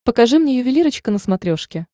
покажи мне ювелирочка на смотрешке